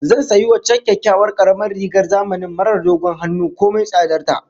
Zan sayi waccan kyakkyawar karamar rigar zamanin marar dogon hannu komai tsadar ta